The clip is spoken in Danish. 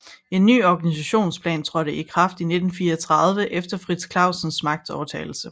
En ny organisationsplan trådte i kraft i 1934 efter Frits Clausens magtovertagelse